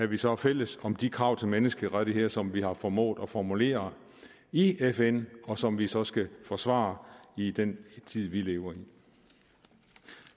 vi så fælles om de krav til menneskerettigheder som vi har formået at formulere i fn og som vi så skal forsvare i den tid vi lever i